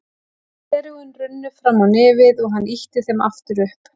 Gleraugun runnu fram á nefið og hann ýtti þeim aftur upp.